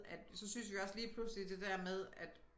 At så syntes vi jo også lige pludselig det der med at